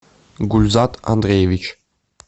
гульзат андреевич